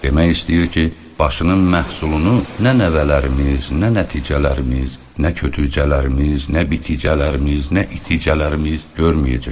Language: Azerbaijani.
Demək istəyir ki, başının məhsulunu nə nəvələrimiz, nə nəticələrimiz, nə kötücələrimiz, nə biticələrimiz, nə iticələrimiz görməyəcək.